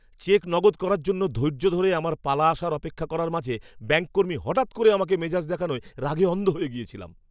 Check নগদ করার জন্য ধৈর্য ধরে আমার পালা আসার অপেক্ষা করার মাঝে ব্যাঙ্ক কর্মী হঠাৎ করে আমাকে মেজাজ দেখানোয় রাগে অন্ধ হয়ে গিয়েছিলাম।